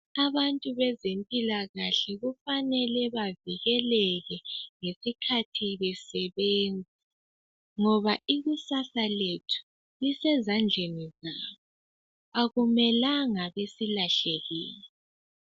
Abantu bezimpilakahle kufanele bavikeleke ngesikhathi besebenza ngoba ikusasa lethu lisezandleni zabo. Akumelanga basilahlekele.